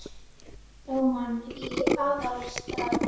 Ráðist á mann í Aðalstræti